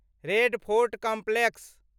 red Fort complex